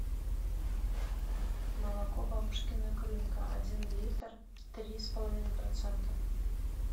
молоко бабушкина крынка один литр три с половиной процента